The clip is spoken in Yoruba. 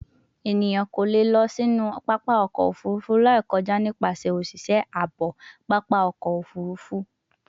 Eniyan ko le lọ sinu papa ọkọ ofurufu lai kọja nipasẹ oṣiṣẹ aabo papa ọkọ ofurufu